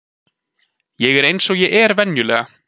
Ég er eins og ég er venjulega.